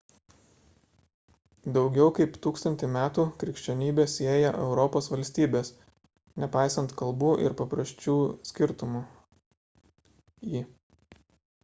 daugiau kaip tūkstantį metų krikščionybė sieja europos valstybes nepaisant kalbų ir papročių skirtumų i